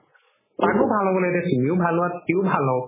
তাকও ভাল হ'বলে দে তুমিও ভাল হুৱা সিও ভাল হওক